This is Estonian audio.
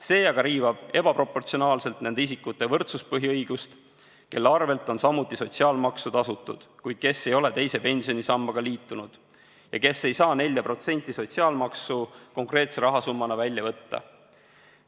See aga riivab ebaproportsionaalselt nende isikute võrdsuspõhiõigust, kelle eest on samuti sotsiaalmaksu tasutud, kuid kes ei ole teise pensionisambaga liitunud ja kes ei saa 4% sotsiaalmaksu konkreetse rahasummana välja võtta.